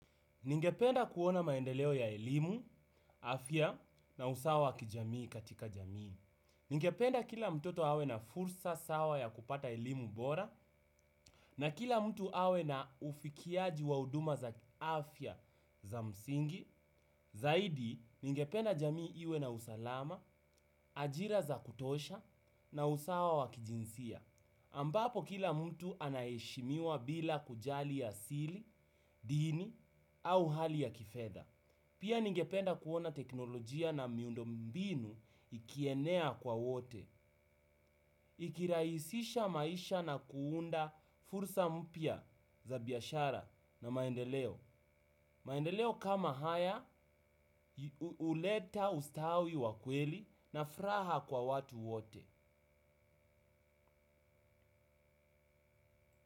Ningependa kuona maendeleo ya elimu, afya, na usawa wa kijamii katika jamii. Ningependa kila mtoto awe na fursa sawa ya kupata elimu bora, na kila mtu awe na ufikiaji wa huduma za kiafya za msingi. Zaidi, ningependa jamii iwe na usalama, ajira za kutosha, na usawa wa kijinsia. Ambapo kila mtu anaheshimiwa bila kujali asili, dini, au hali ya kifedha. Pia ningependa kuona teknolojia na miundo mbinu ikienea kwa wote. Ikirahisisha maisha na kuunda fursa mpya za biashara na maendeleo. Maendeleo kama haya, huleta ustawi wa kweli na furaha kwa watu wote.